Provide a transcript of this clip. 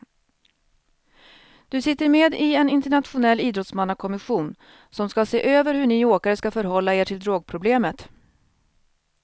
Du sitter med i en internationell idrottsmannakommission som ska se över hur ni åkare ska förhålla er till drogproblemet.